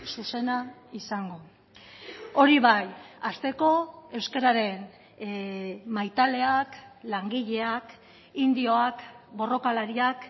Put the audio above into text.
zuzena izango hori bai hasteko euskararen maitaleak langileak indioak borrokalariak